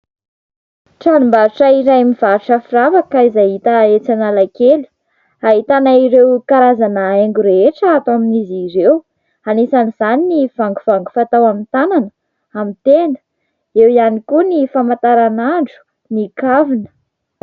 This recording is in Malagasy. Tranombatra iray mivarotra firavaka izay hita etsy analakely. Hahitana ireo karazana haingo rehetra atao amin'izy ireo. Anisan' izany ny vangovango fatao amin'ny tanana, amin'ny tenda, eo ihany koa ny famantaranandro, ny kavina.